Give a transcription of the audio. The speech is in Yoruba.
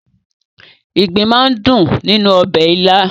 Ìgbín máa ń dùn nínú ọbẹ̀ ilá.